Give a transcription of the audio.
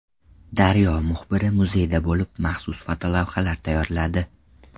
Daryo muxbiri muzeyda bo‘lib maxsus fotolavhalar tayyorladi.